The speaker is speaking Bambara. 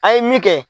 A ye min kɛ